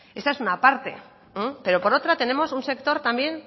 esta es una parte pero por otra tenemos un sector también